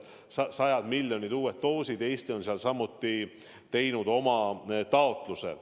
Need on sajad miljonid uued doosid ja Eesti on samuti teinud oma taotluse.